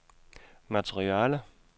materiale